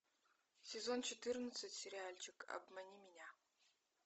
сезон четырнадцать сериальчик обмани меня